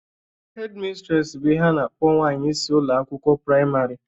Hedmistres bụ ihe a na-akpọ nwanyị isi ụlọ akwụkwọ praịmarị